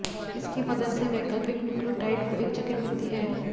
इसकी मदद से वैकल्पिक न्यूक्लियोटाइड को एक जगह मिलती है